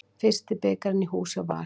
Fyrsti bikarinn í hús hjá Val